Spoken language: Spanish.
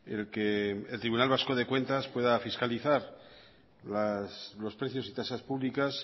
el que el tribunal vasco de cuentas pueda fiscalizar los precios y tasas públicas